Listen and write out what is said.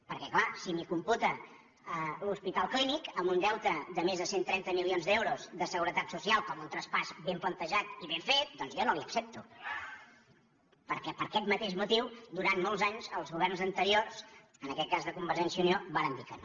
perquè clar si m’hi computa l’hospital clínic amb un deute de més de cent i trenta milions d’euros de seguretat social com un traspàs ben plantejat i ben fet doncs jo no li ho accepto perquè per aquest mateix motiu durant molts anys els governs anteriors en aquest cas de convergència i unió varen dir que no